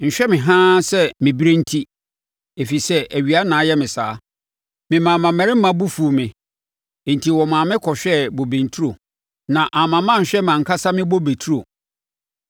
Nhwɛ me haa sɛ mebirie enti, ɛfiri sɛ awia na ayɛ me saa. Memaa mmammarima bo fuu me enti wɔmaa me kɔhwɛɛ bobe nturo so; na amma manhwɛ mʼankasa me bobe turo.